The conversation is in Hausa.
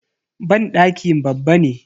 Banɗaki babba ne.